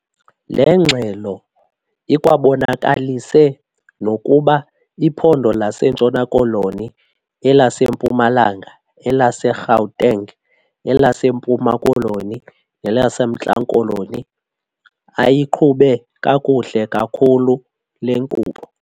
Le ngxelo ikwabonakalise nokuba iphondo laseNtshona Koloni, elaseMpumalanga, elaseGauteng, elaseMpuma Koloni, nelaseMntla Koloni ayiqhube kakuhle kakhulu le nkqubo.